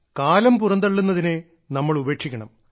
കാലം പുറന്തള്ളുന്നതിനെ നമ്മൾ ഉപേക്ഷിക്കണം